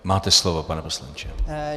Máte slovo, pane poslanče.